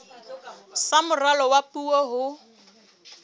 sa moralo wa puo ho